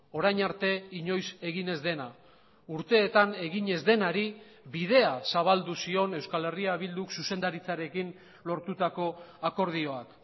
orain arte inoiz egin ez dena urteetan egin ez denari bidea zabaldu zion euskal herria bilduk zuzendaritzarekin lortutako akordioak